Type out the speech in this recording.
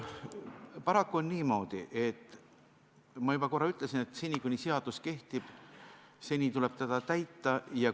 Paraku on niimoodi, nagu ma juba korra ütlesin, et seni, kuni seadus kehtib, tuleb seda täita.